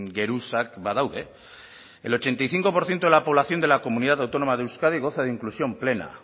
geruzak badaude el ochenta y cinco por ciento de la población de la comunidad autónoma de euskadi goza de inclusión plena